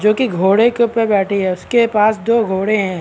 जो की घोड़े के ऊपर बैठी है उसके पास दो घोड़े हैं।